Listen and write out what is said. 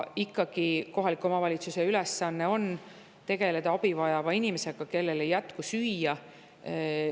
Ikkagi on kohaliku omavalitsuse ülesanne tegeleda abi vajava inimesega, kellel ei jätku süüa.